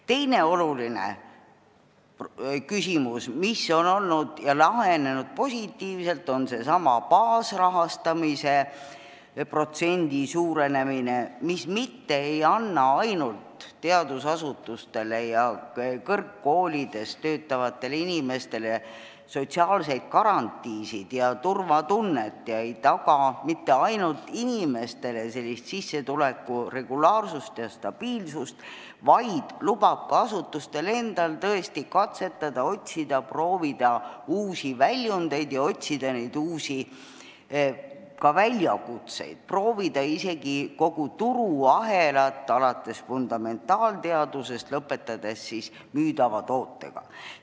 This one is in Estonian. Teine oluline küsimus, mis on lahenenud positiivselt, on seesama baasrahastamise protsendi suurenemine, mis mitte ei anna ainult teadusasutustes ja kõrgkoolides töötavatele inimestele sotsiaalseid garantiisid ja turvatunnet ega taga mitte ainult inimestele sissetuleku regulaarsust ja stabiilsust, vaid lubab ka asutustel tõesti katsetada, otsida ja proovida uusi väljundeid, otsida ka uusi väljakutseid, proovida isegi kogu turuahelat, alates fundamentaalteadustest ja lõpetades müüdava tootega.